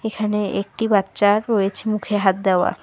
এখানে একটি বাচ্চা রয়েছে মুখে হাত দেওয়া।